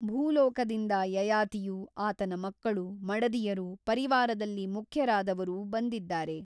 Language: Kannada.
ಭೂಲೋಕದಿಂದ ಯಯಾತಿಯೂ ಆತನ ಮಕ್ಕಳು ಮಡದಿಯರೂ ಪರಿವಾರದಲ್ಲಿ ಮುಖ್ಯರಾದವರೂ ಬಂದಿದ್ದಾರೆ.